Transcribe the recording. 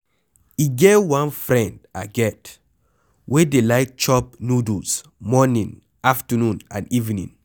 E get one friend I get wey dey like chop noodles morning, afternoon and evening.